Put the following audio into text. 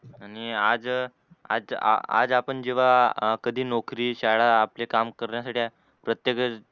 आणि आज, आज आपण जेव्हा कधी नोकरी श्याळा आपने काम करण्यासठी प्रत्येकच